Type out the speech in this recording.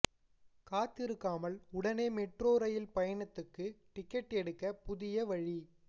காத்திருக்காமல் உடனே metro rail பயணத்துக்கு டிக்கெட் எடுக்க புதிய வழி